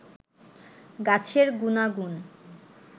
গাছের গুনাগুন